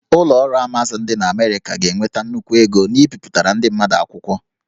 Ụlọ ọrụ Amazon dị na Amerịka ga-enweta nnukwu ego n'ibipụtara ndị mmadụ akwụkwọ